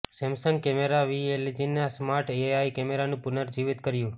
સેમસંગે camera વિ એલજીના smart AI કેમેરાનું પુનર્જીવિત કર્યું